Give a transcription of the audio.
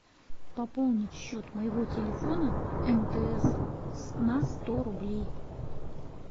пополнить счет моего телефона мтс на сто рублей